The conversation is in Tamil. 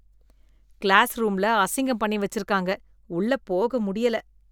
கிளாஸ் ரூம்ல அசிங்கம் பண்ணி வச்சிருக்காங்க, உள்ள போக முடியல.